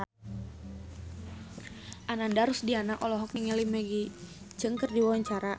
Ananda Rusdiana olohok ningali Maggie Cheung keur diwawancara